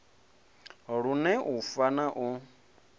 lune u fa na u